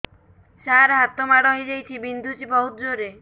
ସାର ହାତ ମାଡ଼ ହେଇଯାଇଛି ବିନ୍ଧୁଛି ବହୁତ ଜୋରରେ